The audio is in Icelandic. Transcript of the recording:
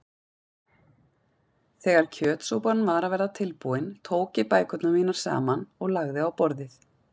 Þegar kjötsúpan var að verða tilbúin tók ég bækurnar mínar saman og lagði á borðið.